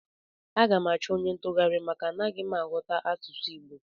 Aga m achọ onye ntụgharị maka na anaghị m aghọta asụsụ Igbo